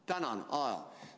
Tänan!